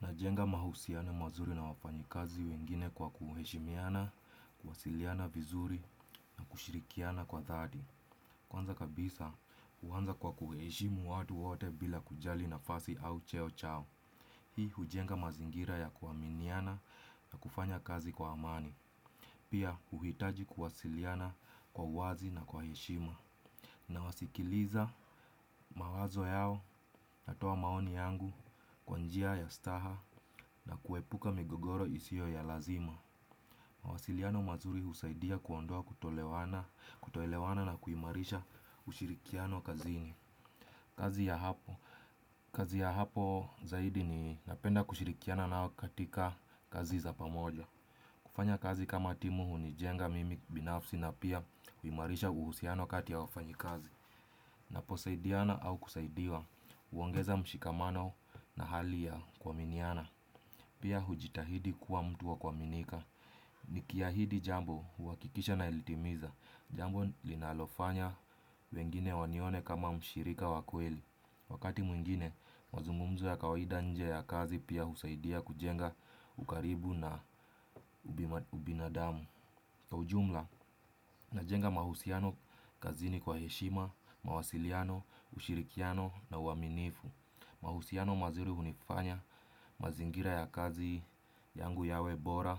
Najenga mahusiano mazuri na wafanyikazi wengine kwa kuheshimiana, kuwasiliana vizuri na kushirikiana kwa dhati. Kwanza kabisa, huanza kwa kuheshimu watu wote bila kujali nafasi au cheo chao. Hii hujenga mazingira ya kuaminiana na kufanya kazi kwa amani. Pia huhitaji kuwasiliana kwa wazi na kwa heshima. Na wasikiliza mawazo yao natoa maoni yangu kwa njia ya ustaha na kuepuka migogoro isiyo ya lazima. Mawasiliano mazuri husaidia kuondoa kutoelewana na kuimarisha ushirikiano kazini. Kazi ya hapo kazi ya hapo zaidi ni napenda kushirikiana nao katika kazi za pamoja. Kufanya kazi kama timu huni jenga mimi binafsi na pia huimarisha uhusiano kati ya wafanyi kazi. Napo saidiana au kusaidiwa, huongeza mshikamano na hali ya kuaminiana. Pia hujitahidi kuwa mtu wa kuaminika. Niki ahidi jambo huhakikisha na litimiza. Jambo linalofanya wengine wanione kama mshirika wa kweli. Wakati mwingine, mazungumzo ya kawaida nje ya kazi pia husaidia kujenga ukaribu na ubinadamu. Ujumla najenga mahusiano kazini kwa heshima, mawasiliano, ushirikiano na uaminifu. Mahusiano mazuri hunifanya mazingira ya kazi yangu yawe bora,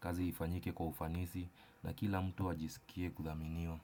kazi ifanyike kwa ufanisi na kila mtu ajisikie kuthaminiwa.